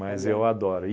Mas eu adoro.